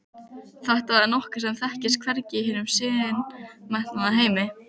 Þetta er nokkuð sem þekkist hvergi í hinum siðmenntaða heimi.